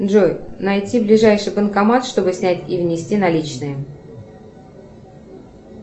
джой найти ближайший банкомат чтобы снять и внести наличные